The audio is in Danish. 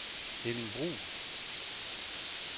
Henning Bruun